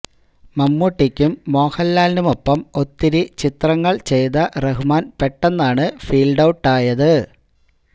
മമ്മൂട്ടിയ്ക്കും മോഹന്ലാലിനുമൊപ്പം ഒത്തിരി ചിത്രങ്ങള് ചെയ്ത റഹ്മാന് പെട്ടന്നാണ് ഫീല്ഡ് ഔട്ടായത്